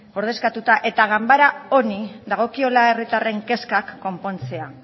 ordezkatuta eta ganbara honi dagokiola herritarren kezkak konpontzea